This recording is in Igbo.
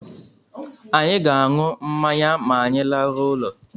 Anyị ga-aṅụ mmanya ma anyị laruo ulo